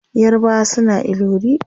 yarbawa suna ilori